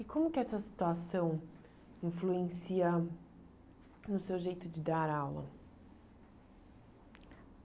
E como que essa situação influencia no seu jeito de dar aula?